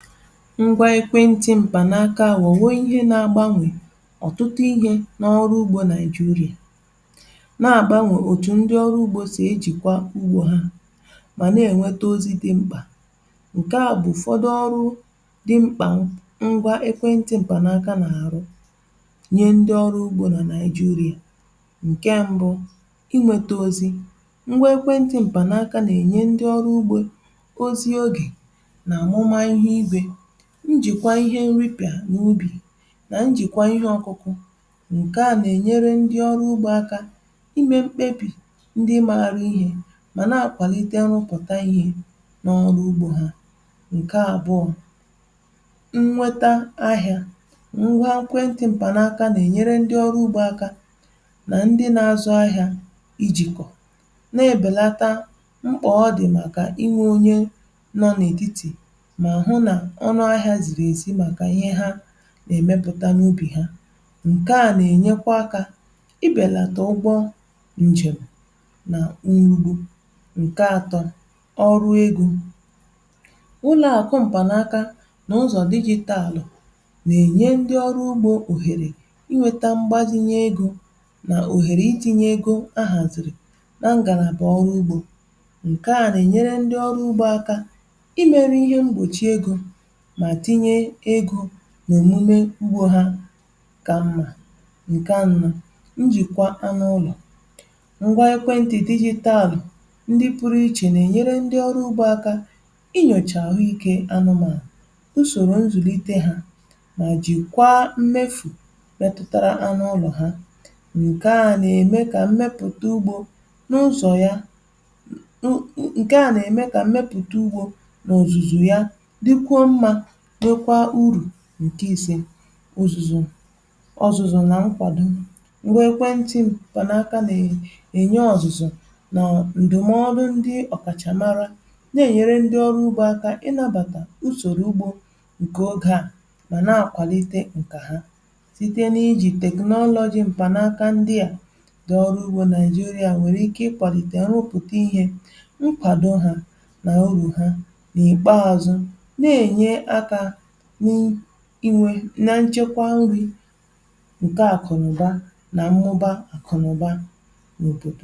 Ngwa ekwe ntị m̀kpànaaka wọ̀ wọ̀ ihe na-agbanwè ọ̀tụtụ ihe n’ọrụ ugbo Naị̀jirị̀à, na-àgbanwè òtù ndị ọrụ ugbȯ sì ejìkwa ugbȯ ha, mà na-ènweta ozi dị̀ m̀kpà. Nkẹ a bụ̀ ụfọdụ ọrụ dị̀ m̀kpà ngwa ekwe ntị m̀kpànaaka nà-àrụ nye ndị ọrụ ugbȯ nà Nàịjirị̀à: Nke mbụ, i nwete ozi̇: ngwa ekwe ntị m̀kpànaaka nà-ènye ndị ọrụ ugbȯ ozi ogè njìkwa ihe nripịà n’ubì nà njìkwa ihe ọkụkụ, ǹke à nà-ènyere ndị ọrụ ugbȯ aka imė mkpebì ndị maȧrụ̇ ihe mà na-àkwàlite nrụ̇pụ̀ta ihe n’ọrụ ugbȯ ha. Nke abụọ, nnweta ahịȧ: ngwa ekwenti m̀pànaka nà-ènyere ndị ọrụ ugbȯ aka nà ndị na-azụ ahịȧ i jìkọ̀, na-èbèlata mkpà ọ dì màkà iwe onye nọ̀ n’ètitì ma hụ na ọnụ ahịa zìrì èzi màkà ihe ha nà-èmepụ̀ta n’ubì ha. Nkèa nà-ènyekwa akȧ i bèlàtà ụgbọ njèm nà nrugbu. Nke atọ, ọrụ egȯ: ụlọ̀ àkụ m̀pànaka nà ụzọ̀ digital nà-ènye ndi ọrụ ugbȯ òhèrè i nwėtȧ mgbazinye egȯ nà òhèrè i tinyė egȯ a hàzìrì na ngàràbà ọrụ ugbȯ, ǹkè a nà-ènyere ndi ọrụ ugbȯ akȧ i mėrù ihe mgbòchi egȯ ma tinye ego n’òmume ugbȯ ha kà mmȧ. Nke anọ, njìkwa anụ ụlọ̀: ngwa ekwentị̀ digital ndị pụrụ ichè nà-ènyere ndị ọrụ ugbȯ aka i nyòchà àhụike anụmànụ, usòrò nzùlite hȧ mà jìkwaa mmefù metụtara anụ ụlọ̀ ha. Nke à nà-ème kà mmepụta ugbȯ n’ụzọ̀ ya n u ǹke à nà-ème kà mmepụta ugbȯ n’òzùzù ya dikwuo mma dịkwa uru. Nke ise, uzuzu ọzụzụ nà nkwàdo: ǹgwa ẹkwẹnti ṁkpanaaka na ẹ̀nyẹ ọzụzụ nà ǹdụ̀mọdụ ndi ọ̀ kàchà mara nà-ẹ̀nyẹrẹ ndi ọrụ ugbȯ aka ị nàbàtà usòrò ugbȯ ǹkẹ ogė a, mà na-àkwàlite ǹkẹ̀ ha. Site n’iji technology m̀kpànàaka ndị a, ndị ọrụ ugbȯ naịjiria nwẹ̀rẹ̀ ike ịkwàlite nrụpụta ihė, nkwàdo hȧ, nà urù ha, n'ikpe azụ, na-enye aka ni iri na nchekwa nri̇ ǹkẹ̀ àkụ̀nụ̀ba nà mmụba àkụ̀nụ̀ba n'obodo.